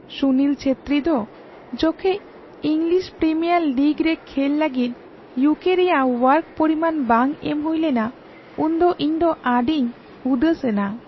ᱥᱩᱱᱤᱞ ᱪᱮᱛᱨᱤ ᱫᱚ ᱡᱚᱠᱷᱮᱡ English Premier League ᱨᱮ ᱠᱷᱮᱞ ᱞᱟᱹᱜᱤᱫ ᱤᱭᱩᱠᱮᱹ ᱨᱮᱭᱟᱜ ᱳᱣᱟᱨᱠ ᱯᱚᱨᱤᱢᱟᱱ ᱵᱟᱝ ᱮᱢ ᱦᱩᱭᱞᱮᱱᱟ ᱩᱱᱫᱚ ᱤᱧ ᱫᱚ ᱟᱹᱰᱤᱧ ᱩᱫᱟᱹᱥ ᱮᱱᱟ ᱾